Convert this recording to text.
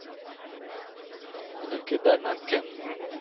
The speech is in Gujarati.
અને કેદારનાથ કેમ